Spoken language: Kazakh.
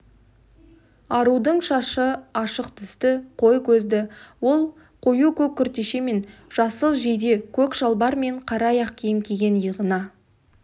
арудың шашы ашық түсті қой көзді ол қою көк күртеше мен жасыл жейде көк шалбар мен қара аяқ киім киген иығына